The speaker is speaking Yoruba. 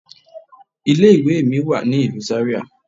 Ilé ìwé mi wà ní ìlú Zaria.